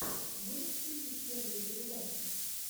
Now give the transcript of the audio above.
можешь включить первые передачи